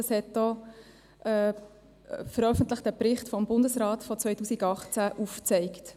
Das hat auch ein veröffentlichter Bericht des Bundesrates von 2018 aufgezeigt.